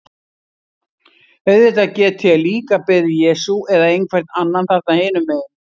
Auðvitað get ég líka beðið Jesú eða einhvern annan þarna hinum megin.